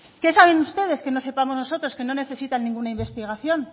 qué saben ustedes que no sepamos nosotros que no necesitan ninguna investigación